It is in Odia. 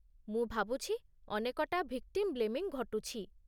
ମୁଁ ଭାବୁଛି ଅନେକଟା ଭିକ୍ଟିମ୍ ବ୍ଳେମିଙ୍ଗ ଘଟୁଛି।